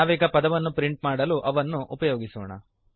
ನಾವೀಗ ಪದವನ್ನು ಪ್ರಿಂಟ್ ಮಾಡಲು ಅವನ್ನು ಉಪಯೋಗಿಸೋಣ